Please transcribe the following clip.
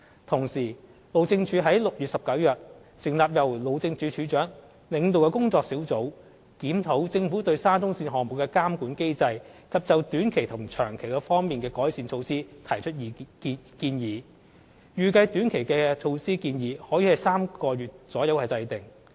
同時，路政署於6月19日成立由路政署署長領導的工作小組，檢討政府對沙中線項目的監管機制及就短期及長期方面的改善措施提出建議，預計短期措施建議可於3個月左右制訂。